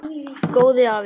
Góði afi.